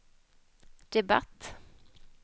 debatt